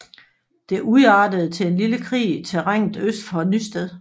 Det udartede til en lille krig i terrænet øst for Nysted